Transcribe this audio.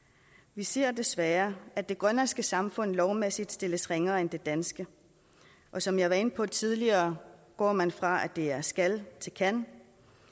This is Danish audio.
vi ser desværre at det grønlandske samfund lovmæssigt stilles ringere end det danske og som jeg var inde på tidligere går man fra at det hedder skal til kan